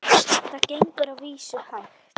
Það gengur að vísu hægt.